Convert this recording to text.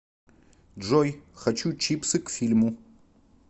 джой хочу чипсы к фильму